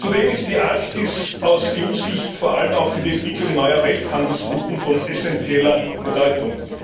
Zudem ist die Arktis aus EU Sicht vor allem auch für die Entwicklung neuer Welthandelsrouten von essenzieller Bedeutung.